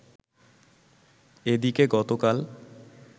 এদিকে গতকাল